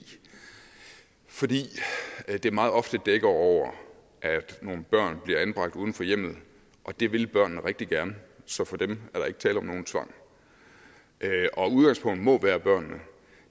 fordi det meget ofte dækker over at nogle børn bliver anbragt uden for hjemmet og det vil børnene rigtig gerne så for dem er der ikke tale om nogen tvang og udgangspunktet må være børnene